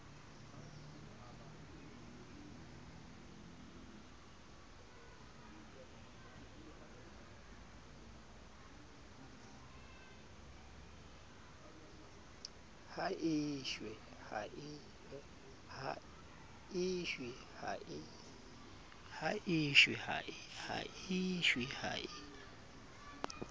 ha e shwe ha e